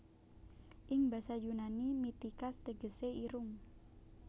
Ing basa Yunani Mitikas tegesé irung